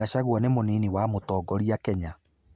Gachagua nĩ mũnini wa mũtongoria Kenya.